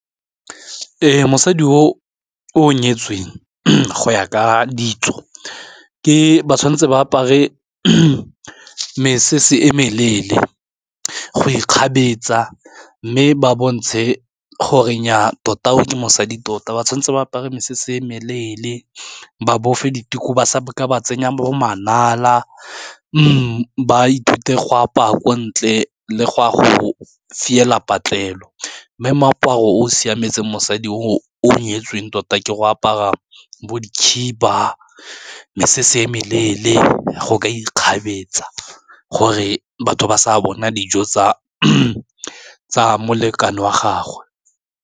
Ee, mosadi o nyetsweng go ya ka ditso ke ba tshwanetse ba apare mesese e meleele go ikgabetsa mme ba bontshe gore nyaa tota o ke mosadi tota ba tshwanetse ba apare mesese e meleele ba bofe dituku ba sa ka ba tsenya bo manala mme ba ithute go apaya ko ntle le go ya go fiela patlelo, mme moaparo o siametse mosadi o nyetsweng tota ke go aparwa bo di khiba mme se se e meleele go ka ikgabetsa, gore batho ba sa bona dijo tsa molekane wa gagwe.